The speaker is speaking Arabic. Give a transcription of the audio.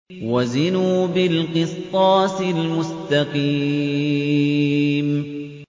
وَزِنُوا بِالْقِسْطَاسِ الْمُسْتَقِيمِ